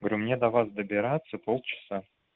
говорю мне до вас добираться полчаса